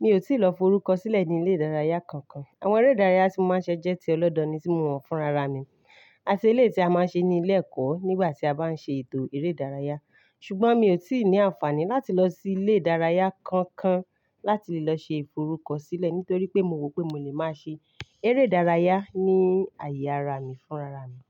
mi ò tíì lọ forúkọsílẹ̀ ní ilé ìdárayá kankan. Àwọn eré ìdárayá tí mo máa ń ṣẹ́ jẹ́ ti ọlọ́dọ̀ ni tí mo mọ̀ fúnra ra mi àti elé tí a máa ń ṣe ní ilé ẹ̀kọ́ nígbà tí a bá ń ṣe ètò eré ìdárayá. Ṣùgbọ́n mi ò tíì ní àǹfààní láti lọ sí ilé ìdárayá kankan láti lọ ṣe ìforúkọsílẹ̀ nítorí pé mo rò pé mo lè máa ṣe eré ìdárayá ní àyè ara mi fúnra ra mi.